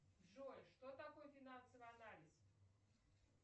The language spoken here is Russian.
джой что такое финансовый анализ